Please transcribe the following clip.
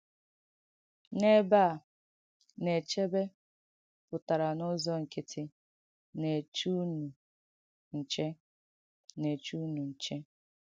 N’èbē à, “na-èchēbē” pụ̀tàrà n’ụ́zọ̀ ǹkị̀tì “na-èchē ùnụ̀ nchẹ.” “na-èchē ùnụ̀ nchẹ.”